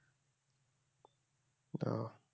ও